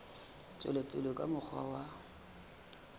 tswela pele ka mokgwa wa